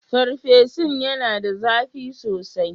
Farfesun yana da zafi sosai?